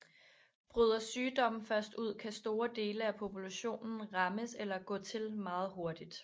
Bryder sygdomme først ud kan store dele af populationen rammes eller gå til meget hurtigt